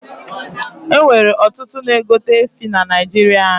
E nwere ọtụtụ na egote efi na naijiria anyi